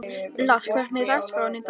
Lars, hvernig er dagskráin í dag?